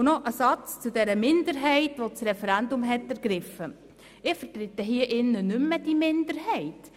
– Und noch ein Satz zur Minderheit, die das Referendum ergriffen hat: Ich vertrete hier im Grossen Rat nicht mehr diese Minderheit.